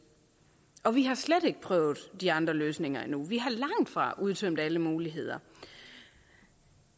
og vi har slet ikke prøvet de andre løsninger endnu vi har langtfra udtømt alle muligheder